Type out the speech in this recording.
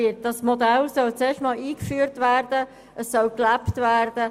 Dieses Modell soll erst einmal eingeführt und gelebt werden.